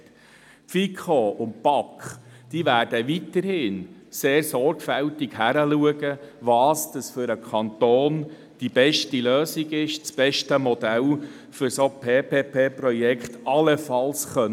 Die FiKo und die BaK werden weiterhin sehr sorgfältig begleiten, welches für den Kanten die besten Lösungen und die besten Modelle sind, um solche PPP-Projekte zu realisieren.